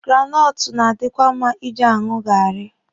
Granọtụ na-adikwa mma Ị ji aṅụ gaarị.